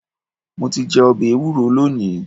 Mo ti jẹ ọbẹ ẹwúro lónìí.